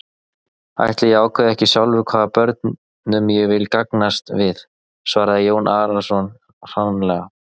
Ætli ég ákveði ekki sjálfur hvaða börnum ég vil gangast við, svaraði Jón Arason hranalega.